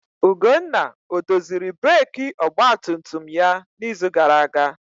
Ugonna odoziri breeki ọgba tum tum ya n'izu gara aga?